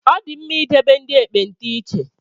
Ọ dị mma idebe ndị ekpenta iche